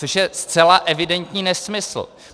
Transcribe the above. Což je zcela evidentní nesmysl.